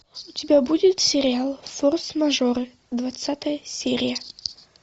у тебя будет сериал форс мажоры двадцатая серия